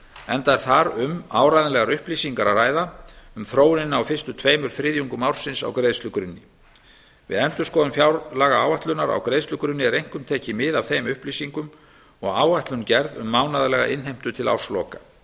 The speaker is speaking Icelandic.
enda er þar um áreiðanlegar upplýsingar að ræða um þróunina á fyrstu tveimur þriðjungum ársins á greiðslugrunni við endurskoðun fjárlagaáætlunar á greiðslugrunni er einkum tekið mið af þeim upplýsingum og áætlun gerð um mánaðarlega innheimtu til ársloka